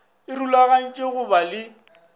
e rulaganyetša go ba le